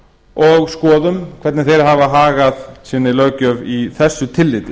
og skoðum hvernig þeir hafa hagað sinni löggjöf í þessu tilliti